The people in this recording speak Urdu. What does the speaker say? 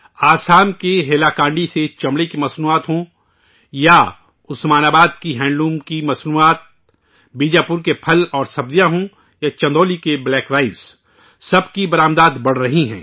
آسام کے ہیلا کانڈی کی چمڑے کی مصنوعات ہوں یا عثمان آباد کی ہینڈلوم کی مصنوعات، بیجاپور کے پھل اور سبزیاں ہوں یا چندولی کے کالے چاول، سب کی برآمدات بڑھ رہی ہے